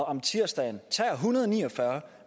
om tirsdagen tager en hundrede og ni og fyrre